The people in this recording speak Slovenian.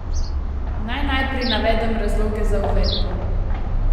Naj najprej navedem razloge za uvedbo.